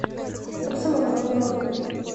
комсомолка бронь